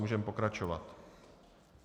Můžeme pokračovat.